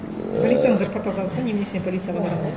полицияның зарплатасы аз ғой неменесіне полицияға барады